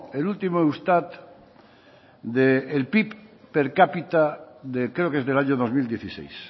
el último eustat del pib per capita de creo que es del año dos mil dieciséis